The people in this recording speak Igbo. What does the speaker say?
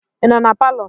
Ị nọ na palọ?